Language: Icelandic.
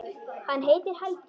Hann heitir Helgi.